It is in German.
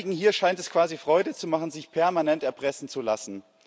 Einigen hier scheint es quasi Freude zu machen, sich permanent erpressen zu lassen.